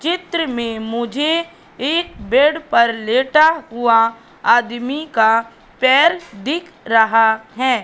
चित्र में मुझे एक बेड पर लेटा हुआ आदमी का पैर दिख रहा है।